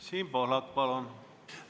Siim Pohlak, palun!